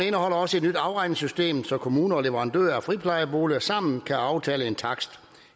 indeholder også et nyt afregningssystem så kommuner og leverandører af friplejeboliger sammen kan aftale en takst